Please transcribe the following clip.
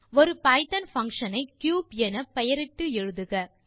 ஒரு Python function ஐ cube என பெயரிட்டு எழுதுக